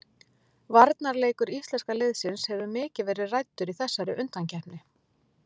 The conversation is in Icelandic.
Varnarleikur íslenska liðsins hefur mikið verið ræddur í þessari undankeppni.